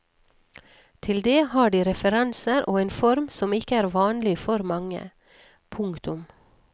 Til det har de referanser og en form som ikke er vanlig for mange. punktum